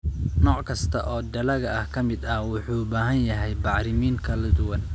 Nooc kasta oo dalagga ka mid ah wuxuu u baahan yahay bacrimin kala duwan.